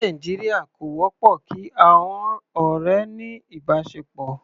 Ní Nàìjíríà, kò wọ́pọ̀ kí àọn ọ̀rẹ́ ní ìbáṣepọ̀.